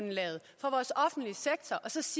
synes